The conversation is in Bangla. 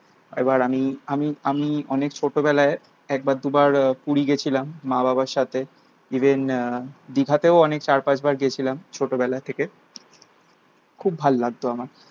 একবার আমি আমি আমি অনেক ছোটবেলায় একবার দুবার পুরী গেছিলাম মা বাবার সাথে। ইভেন আহ দিঘাতেও অনেক চার পাঁচ বার গেছিলাম ছোটবেলা থেকে। খুব ভালো লাগতো আমার।